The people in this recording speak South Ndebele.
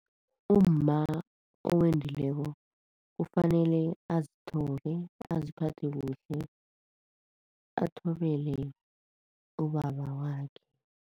Umma owendileko kufanele azithobe, aziphathe kuhle, athobele ubaba wakhe.